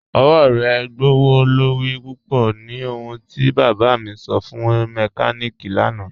Ọwọ̀ rẹ gbọwọ́lorí púpọ̀ ni ohùn ti bába mi sọ̀ fún mẹ́kàníkí lànà.